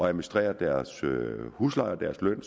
administrere deres husleje og deres løn